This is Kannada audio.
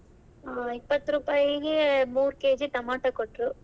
ಆ ಇಪ್ಪತ್ತು ರೂಪಾಯಿಗೆ ಮೂರು KG ಟೊಮ್ಯಾಟೊ ಕೊಟ್ರು.